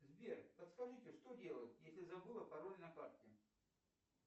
сбер подскажите что делать если забыла пароль на карте